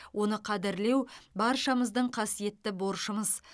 оны қадірлеу баршамыздың қасиетті борышымыз